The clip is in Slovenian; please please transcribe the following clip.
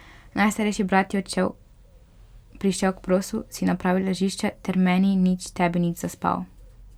Najstarejši brat je odšel, prišel k prosu, si napravil ležišče ter meni nič, tebi nič, zaspal.